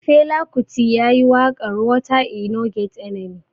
Fela kuti yayi waƙar "water e no get enemy".